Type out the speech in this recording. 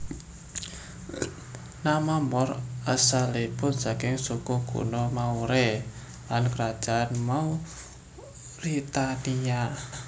Nama Moor asalipun saking suku kuno Maure lan Kerajaan Mauritania